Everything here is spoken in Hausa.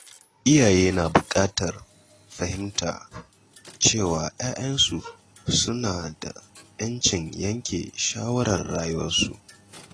Iyaye na bukatar fahimta cewa ‘ya’yansu suna da ‘yancin yanke shawarar rayuwarsu.